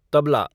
tabla